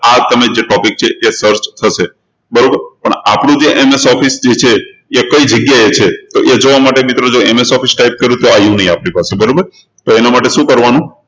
આ જે તમે topic છે એ search થશે બરોબર પણ આપણું જે MS Office છે એ કઈ જગ્યાએ છે તો એ જોવા માટે મિત્રો MSofficetype કર્યું તો આવ્યું નહી આપણી પાસે તો એના માટેશું કરવાનું